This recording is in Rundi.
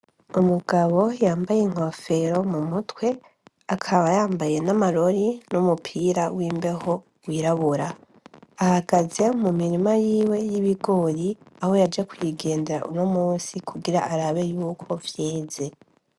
Umugabo yambaye inkofero mu mutwe, akaba yambaye n‘ amarori n‘ umupira w’mbeho wirabura. Ahagaze mu mirima yiwe y‘ ibigori, aho yaje kuyigendera unomusi kugira arabe yuko vyeze .